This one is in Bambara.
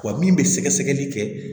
Wa min bɛ sɛgɛsɛgɛli kɛ